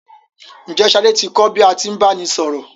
Ǹjẹ́ Ṣadé ti kò bí a tí ń báni sọ̀rọ̀?